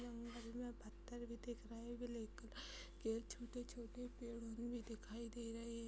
जंगल में पत्‍थर भी दिख रहे ब्लैक कलर के छोटे छोटे भी दिखाई दे रहे |